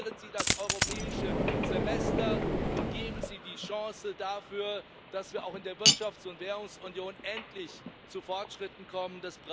Reformieren Sie das Europäische Semester und geben Sie die Chance dafür, dass wir auch in der Wirtschafts und Währungsunion endlich zu Fortschritten kommen.